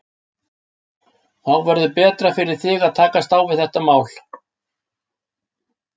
Þá verður betra fyrir þig að takast á við þetta mál.